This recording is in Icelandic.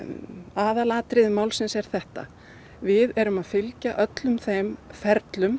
aðalatriði málsins er þetta við erum að fylgja öllum þeim ferlum